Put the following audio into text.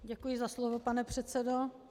Děkuji za slovo, pane předsedo.